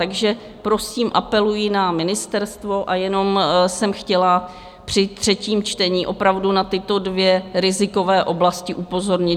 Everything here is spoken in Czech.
Takže, prosím, apeluji na ministerstvo a jenom jsem chtěla při třetím čtení opravdu na tyto dvě rizikové oblasti upozornit.